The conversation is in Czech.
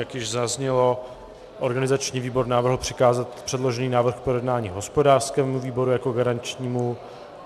Jak již zaznělo, organizační výbor navrhl přikázat předložený návrh k projednání hospodářskému výboru jako garančnímu.